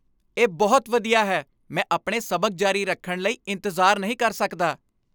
ਇਹ ਬਹੁਤ ਵਧੀਆ ਹੈ! ਮੈਂ ਆਪਣੇ ਸਬਕ ਜਾਰੀ ਰੱਖਣ ਲਈ ਇੰਤਜ਼ਾਰ ਨਹੀਂ ਕਰ ਸਕਦਾ।